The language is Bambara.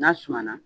N'a suma na